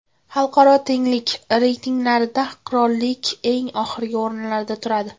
Xalqaro tenglik reytinglarida qirollik eng oxirgi o‘rinlarda turadi.